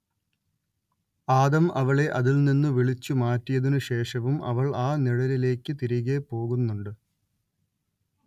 ആദം അവളെ അതിൽ നിന്നു വിളിച്ചു മാറ്റിയതിനു ശേഷവും അവൾ ആ നിഴലിലേയ്ക്ക് തിരികേ പോകുന്നുണ്ട്